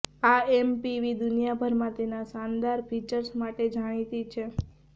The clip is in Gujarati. આ એમપીવી દુનિયાભરમાં તેના શાનદાર ફીચર્સ માટે જાણીતી છે